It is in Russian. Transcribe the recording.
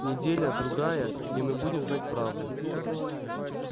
неделя-другая и мы будем знать правду